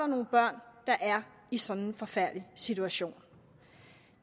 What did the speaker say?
nogle børn der er i sådan en forfærdelig situation